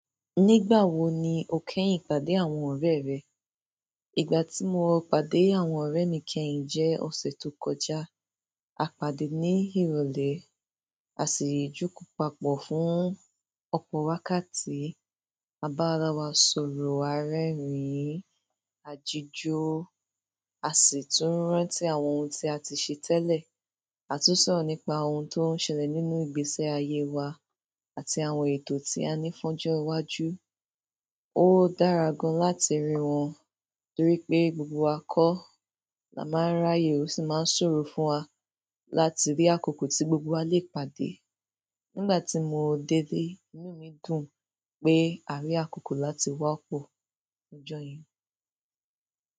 Nígbà wo ni o kẹ́yìn pàdé àwọn ọ̀rẹ́ rẹ? Ìgbà tí mo pàdé àwọn ọ̀rẹ́ mi kẹ́yìn jẹ́ ọ̀sẹ̀ tó kọjá. A pàdé ní ìrọ̀lẹ́, a sì jòkòó papọ̀ fún ọ̀pọ̀ wákàtí. A bá ara wa sọ̀rọ̀ a rẹ́rìn-ín, a jíjó, a sì tún rántí àwọn ohun tí a ti ṣe tẹ́lẹ̀. A tún sọ̀rọ̀ nípa ohun tó ń ṣẹlẹ̀ nínú ìgbésí-ayé wa àti àwọn ètò tí a ní fún ọjọ́ iwájú. Ó dára gan-an láti rí wọn, torí pé gbogbo wa kọ́ la máa ń ráyè ó sì máa ń ṣòro fún wa láti rí àkókò tí gbogbo wa lè pàdé. Nígbà tí mo délé, inú mi dùn pé a rí àkókò láti wá pọ̀ lọ́jọ́ yíì.